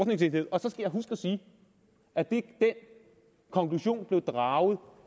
jeg huske at sige at den konklusion blev draget